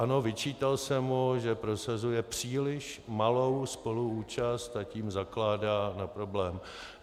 Ano, vyčítal jsem mu, že prosazuje příliš malou spoluúčast, a tím zakládá na problém.